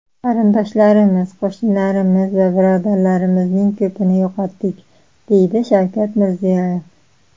Qarindoshlarimiz, qo‘shnilarimiz va birodarlarimizning ko‘pini yo‘qotdik”, deydi Shavkat Mirziyoyev.